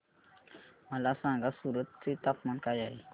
मला सांगा सूरत चे तापमान काय आहे